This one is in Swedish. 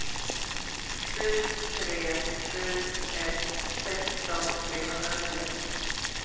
sju tre sju ett sexton trehundranio